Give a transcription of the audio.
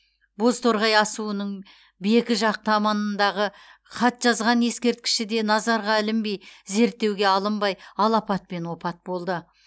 бозторғай асуының бекі жақ таманындағы хатжазған ескерткіші де назарға ілінбей зерттеуге алынбай алапатпен опат болды